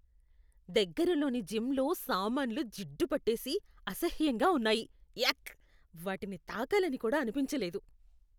దగ్గరలోని జిమ్లో సామాన్లు జిడ్డుపట్టేసి అసహ్యంగా ఉన్నాయి. యాక్! వాటిని తాకాలని కూడా అనిపించలేదు.